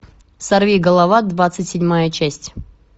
сорви голова двадцать седьмая часть